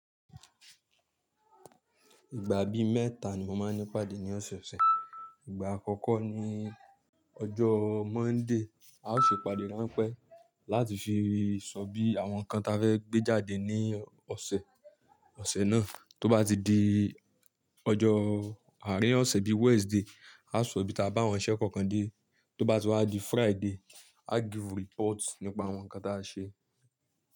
Ìgbà bí mẹ́ta ni mo máa ń ní ìpàdé ní ọ̀sẹ̀ ọ̀sẹ̀. Ìgbà àkọ́kọ́ ni ọjọ́ Monday, a o ṣe ìpàdé ránpẹ́ láti fi sọ bí àwọn nǹkan ta fẹ́ gbé jáde ní ọ̀sẹ̀ ọ̀sẹ̀ náà. Tó bá ti di ọjọ́ àárín ọ̀sẹ̀ bí Wednesday, a ó sọ bí a bá àwọn iṣẹ́ kọ̀ọ̀kan dé. Tó bá ti wá di Friday, áa give report nípa àwọn nǹkan táa ṣe.